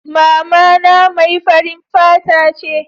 mamana mai farin fata ce